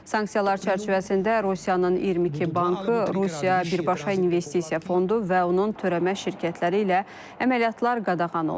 Sanksiyalar çərçivəsində Rusiyanın 22 bankı, Rusiya birbaşa investisiya fondu və onun törəmə şirkətləri ilə əməliyyatlar qadağan olunur.